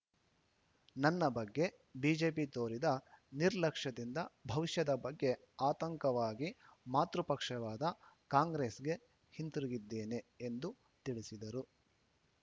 ನನ್ನ ಬಗ್ಗೆ ಬಿಜೆಪಿ ತೋರಿದ ನಿರ್ಲಕ್ಷ್ಯದಿಂದ ಭವಿಷ್ಯದ ಬಗ್ಗೆ ಆತಂಕವಾಗಿ ಮಾತೃ ಪಕ್ಷವಾದ ಕಾಂಗ್ರೆಸ್‌ಗೆ ಹಿಂತಿರುಗಿದ್ದೇನೆ ಎಂದು ತಿಳಿಸಿದರು